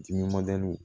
Dimi